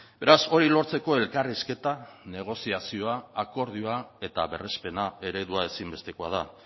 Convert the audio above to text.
beraz hori lortzeko elkarrizketa negoziazioa akordioa eta berrespena eredua ezinbestekoa da